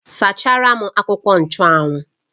Sachara m akwụkwọ nchụ́anwu!